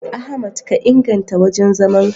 Ahmad ka inganta wajen zaman ka.